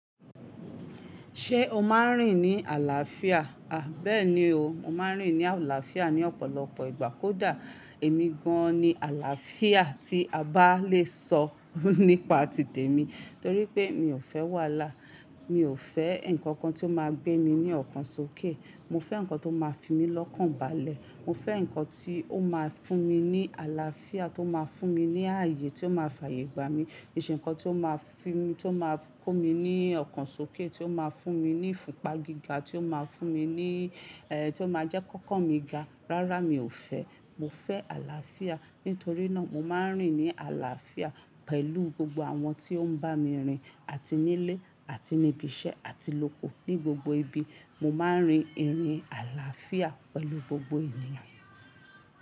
Ṣé o máa ń rìn ní àlàáfíà? A bẹ́ẹ̀ni o, mo máa ń rìn ní àlàáfíà ní ọ̀pọ̀lọpọ̀ ìgbà. Kódà èmi gan-an ni àlàáfíà tí a bá le sọ nípa tìtẹ̀mí torí pé mi ò fẹ́ wàhalá. Mi ò fẹ́ nnkan kan tí ó máa gbé mi ní ọ̀kan sókè. Mo fẹ́ ǹnkan tó máa fi mí lọ́kàn balẹ̀. Mo fẹ́ nnkan tí ó máa fún mi ní àlàáfíà, tó máa fún mi ní ààyè, tó máa fààyè gbà mí. kiÌ ṣẹ̀ nnkan tí ó máa fi mí, tí ó máa kó mi ní ọ̀kan sókè, tí ó máa fún mi ní ifùnpà gíga, tí ó máa fún mi ní, ẹ́ tí o má a jẹ́ kọ́kan mi ga, rárá mi ò fẹ́. Mo fẹ́ àlàáfíà. Nítorí náà, mo máa ń rìn ní àlàáfíà pẹ̀lú gbogbo àwọn tí ó ń bá mi rìn, àti ní ilé, àti ní ibi iṣẹ́, àti lóko, ní gbogbo ibi. Mo máa ń rin ìrìn àlàáfíà pẹ̀lú gbogbo ènìyàn.